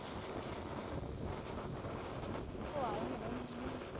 ਉਹ ਆਏ ਮਗਰੋਂ ਕਿਧਰੋਂ ਦੀ